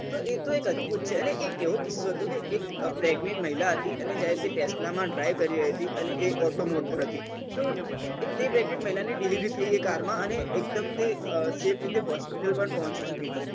એ તો એક અદભુત છે અને એક તો એવો કિસ્સો હતો કે એક pregnet મહિલા હતી અને જયારે તે tesla માં drive કરી રહતી હતી અને auto mode પર હતી તો તે pregnet ની delivery થઇ એ car માં